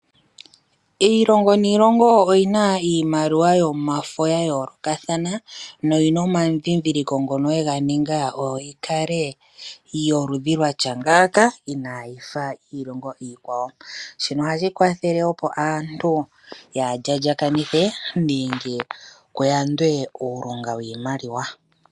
Iilongo niilongo oyina iimaliwa yomafo ya yoolokathana noyina oma dhindhiliko ngono ye ga ninga, oyo yi kale yoludhi lwatya ngaaka inaayifa yiilongo iikwawo. Shino ohashi kwathele opo aantu yaaha djadjakanithe nenge kuyandwe uulunga wiimaliwa.